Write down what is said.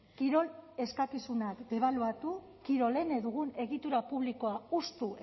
kirol eskakizunak debaluatu kirolene dugun egitura publikoa hustu